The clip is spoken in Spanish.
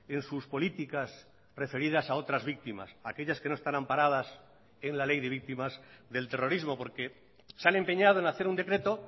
en sus políticas referidas a otras víctimas aquellas que no están amparadas en la ley de víctimas del terrorismo porque se han empeñado en hacer un decreto